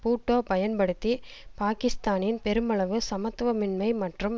பூட்டோ பயன்படுத்தி பாக்கிஸ்தானின் பெருமளவு சமத்துவமின்மை மற்றும்